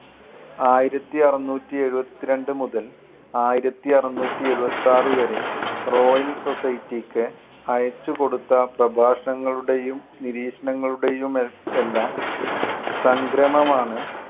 ആയിരത്തി അറുനൂറ്റി എഴുപത്തി രണ്ട് മുതൽ ആയിരത്തി അറുനൂറ്റി എഴുപത്തി ആറ് വരെ റോയൽ സൊസൈറ്റിക്ക് അയച്ചുകൊടുത്ത പ്രഭാഷണങ്ങളുടെയും നിരീക്ഷണങ്ങളുടെയും മെ~ എല്ലാം സംഗ്രമമാണ്